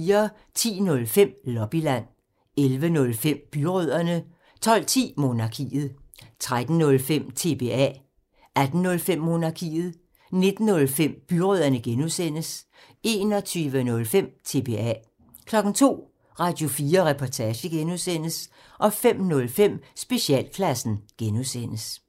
10:05: Lobbyland 11:05: Byrødderne 12:10: Monarkiet 13:05: TBA 18:05: Monarkiet 19:05: Byrødderne (G) 21:05: TBA 02:00: Radio4 Reportage (G) 05:05: Specialklassen (G)